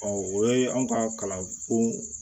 o ye anw ka kalanko